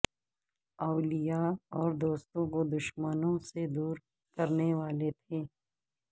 اولیاء اور دوستوں کو دشمنوں سے دور کرنے والے تھے